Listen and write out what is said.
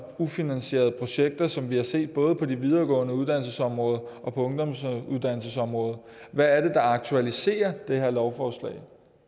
ufinansierede projekter som vi har set både på det videregående uddannelsesområde og på ungdomsuddannelsesområdet hvad er det der aktualiserer det her lovforslag